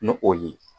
Ni o ye